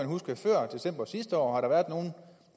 huske før december sidste år om har været nogen